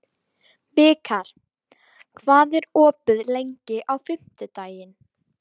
Vikar, hvað er opið lengi á fimmtudaginn?